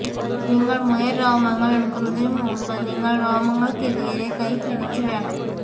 നിങ്ങൾ മുയൽ രോമങ്ങൾ എടുക്കുന്നതിന് മുമ്പ് നിങ്ങൾ രോമങ്ങൾക്കെതിരെ കൈ പിടിച്ച് വേണം